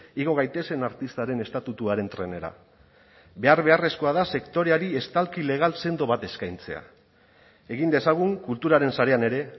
igo gaitezen artistaren estatutuaren trenera behar beharrezkoa da sektoreari estalki legal sendo bat eskaintzea egin dezagun kulturaren sarean ere